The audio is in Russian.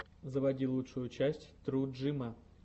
заводи лучшую часть тру джима